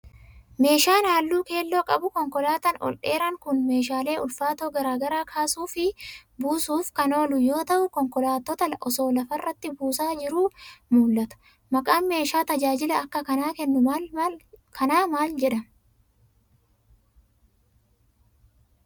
Meeshaan haalluu keelloo qabu konkolaataan ol dheeraan kun, meeshaalee ulfaatoo garaa garaa kaasuu fi buusuuf kan oolu yoo ta'u, konkolaattota osoo lafa irratti buusaa jiru mul'ata. Maqaan meeshaa tajaajila akka kanaa kennu kanaa maal jedhama?